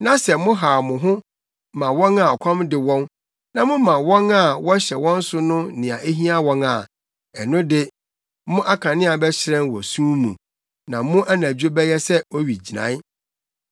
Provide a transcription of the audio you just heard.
na sɛ mohaw mo ho ma wɔn a ɔkɔm de wɔn na moma wɔn a wɔhyɛ wɔn so no nea ehia wɔn a, ɛno de, mo akanea bɛhyerɛn wɔ sum mu, na mo anadwo bɛyɛ sɛ owigyinae.